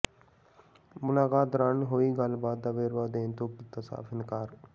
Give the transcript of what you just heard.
ਮੁਲਾਕਾਤ ਦੌਰਾਨ ਹੋਈ ਗੱਲਬਾਤ ਦਾ ਵੇਰਵਾ ਦੇਣ ਤੋਂ ਕੀਤਾ ਸਾਫ ਇਨਕਾਰ